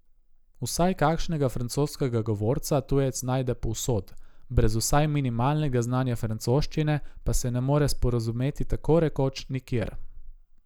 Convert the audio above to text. Vsaj kakšnega francoskega govorca tujec najde povsod, brez vsaj minimalnega znanja francoščine pa se ne more sporazumeti tako rekoč nikjer.